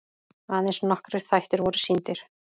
Aðeins nokkrir þættir voru sýndir.